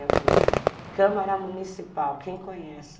Eu falo, Câmara Municipal, quem conhece?